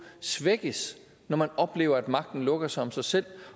svækkes når man oplever at magten lukker sig om sig selv